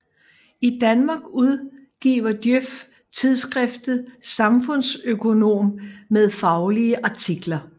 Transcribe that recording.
I Danmark udgiver Djøf tidsskriftet Samfundsøkonomen med faglige artikler